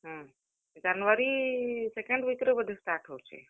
ହୁଁ, January second week ରେ ବୋଧେ start ହଉଛେ।